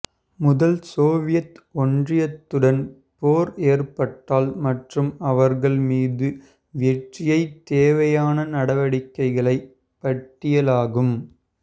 முதல் சோவியத் ஒன்றியத்துடன் போர் ஏற்பட்டால் மற்றும் அவர்கள் மீது வெற்றியை தேவையான நடவடிக்கைகளை பட்டியலாகும்